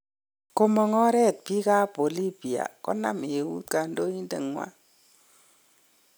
komang oret biik ab Bolivia konam eut kandoindet nywan